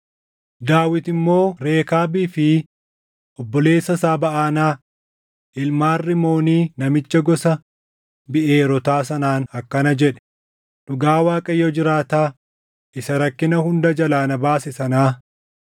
Daawit immoo Rekaabii fi obboleessa isaa Baʼanaa, ilmaan Rimoonii namicha gosa Biʼeerootaa sanaan akkana jedhe; “Dhugaa Waaqayyo jiraataa isa rakkina hunda jalaa na baase sanaa,